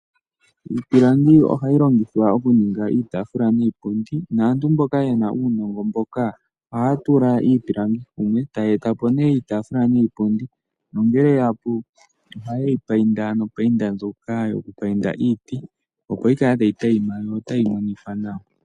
Iipilangi ohayi longithwa okuninga iitaafula niipundi naantu mboka yena uunongo mboka ohaya tula iipilangi umwe taya etapo nee iitafula niipundi nongele yapu oha yeyi pahinda nopayinda ndjoka yoku payinda iiti opo yikale tayi adhima yo otayi monika nawa.